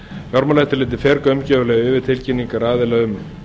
fjármálaeftirlitið fer gaumgæfilega yfir tilkynningar aðila um